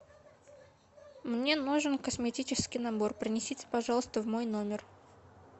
мне нужен косметический набор принесите пожалуйста в мой номер